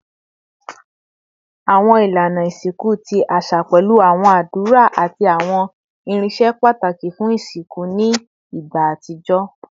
Awọn ilana isinku ti aṣa pẹlu awọn adura ati awọn irinṣẹ pataki fun isinku ni igba atijọ